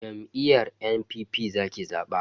Jam'iyyar NNPP zaki zaba.